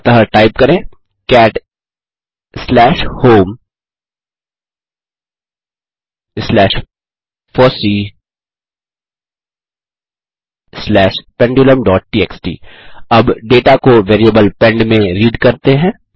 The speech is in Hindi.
अतः टाइप करें cat slash home slash FOSSEE स्लैश pendulumटीएक्सटी अब डेटा को वेरिएबल पेंड में रीड करते हैं